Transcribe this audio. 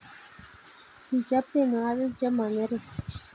Kichop tienwogik chemo ngering